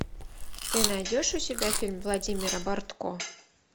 ты найдешь у себя фильм владимира бортко